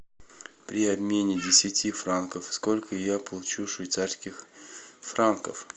при обмене десяти франков сколько я получу швейцарских франков